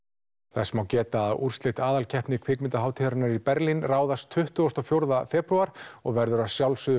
þess má geta að úrslit aðalkeppni kvikmyndahátíðarinnar í Berlín ráðast tuttugasti og fjórði febrúar og verður að sjálfsögðu